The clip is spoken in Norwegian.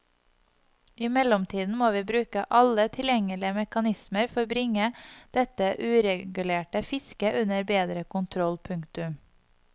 I mellomtiden må vi bruke alle tilgjengelige mekanismer for bringe dette uregulerte fisket under bedre kontroll. punktum